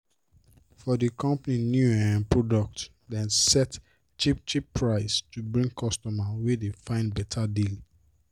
for d company new um product dem set cheap-cheap price to bring customers wey dey find better deal.